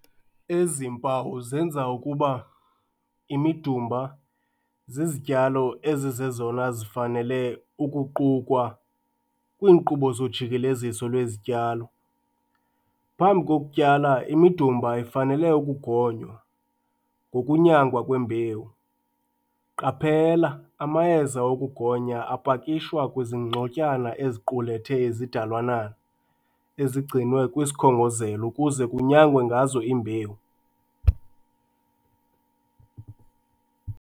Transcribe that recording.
Ezi mpawu zenza ukuba imidumba zizityalo ezizezona zifanele ukuqukwa kwiinkqubo zojikeleziso lwezityalo. Phambi kokutyala, imidumba ifanele ukugonywa ngokunyangwa kwembewu. Qaphela - Amayeza okugonya apakishwa kwizingxotyana eziqulethe izidalwananana ezigcinwe kwisikhongozelo ukuze kunyangwe ngazo imbewu.